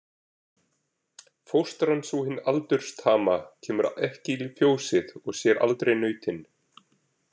Fóstran sú hin aldurstama kemur ekki í fjósið og sér aldrei nautin.